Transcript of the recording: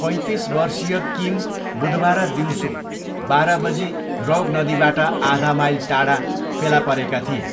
पैँतिस वर्षीय किम बुधबार दिउँसो बाह्र बजी रौग नदीबाट आधा माइल टाढा फेला परेका थिए।